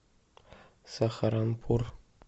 сахаранпур